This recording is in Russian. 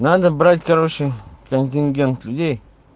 надо брать короче контингент людей